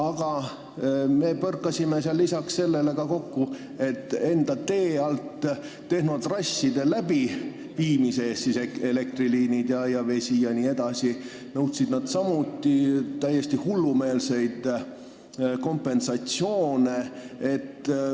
Samas põrkasime kokku sellega, et nad nõudsid enda tee alt tehnotrasside, st elektriliinide veetorude jms läbiviimise eest samuti täiesti hullumeelseid kompensatsioone.